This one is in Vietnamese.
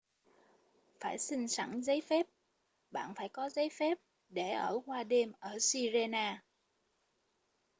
phải xin sẵn giấy phép bạn phải có giấy phép để ở qua đêm ở sirena